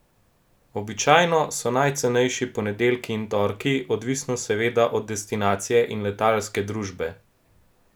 Običajno so najcenejši ponedeljki in torki, odvisno seveda od destinacije in letalske družbe.